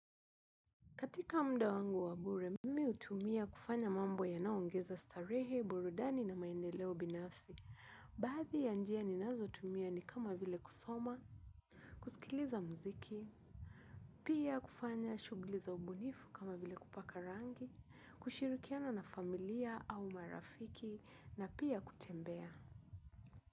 Katika mda wangu wa bure, mimi hutumia kufanya mambo yanaoongeza starehe, burudani na maendeleo binafsi. Bathi ya njia ninazo tumia ni kama vile kusoma, kusikiliza mziki, pia kufanya shugli za ubunifu kama vile kupaka rangi, kushirikiana na familia au marafiki, na pia kutembea.